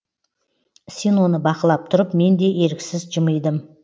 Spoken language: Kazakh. синоны бақылап тұрып мен де еріксіз жымидым